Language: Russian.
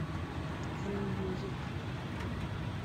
н мьюзик